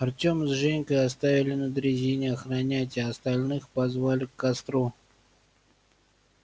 артёма с женькой оставили на дрезине охранять а остальных позвали к костру